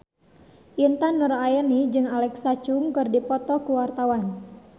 Intan Nuraini jeung Alexa Chung keur dipoto ku wartawan